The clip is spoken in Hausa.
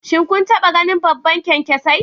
Shin kun taba ganin babban kyankyasai?